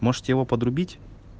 может его подрубить